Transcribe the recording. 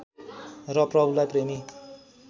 र प्रभुलाई प्रेमी